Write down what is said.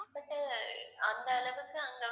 but அந்த அளவுக்கு அங்க